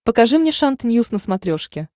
покажи мне шант ньюс на смотрешке